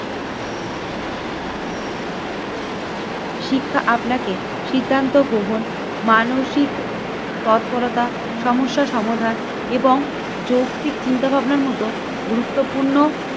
শিক্ষা আপনাকে সিদ্ধান্ত গ্রহণ মানসিক তৎপরতা সমস্যা সমাধান এবং যৌক্তিক চিন্তাভাবনার মতো গুরুত্বপূর্ণ